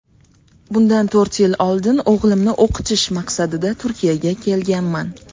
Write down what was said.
Bundan to‘rt yil oldin o‘g‘limni o‘qitish maqsadida Turkiyaga kelganman.